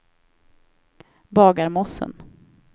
Bagarmossen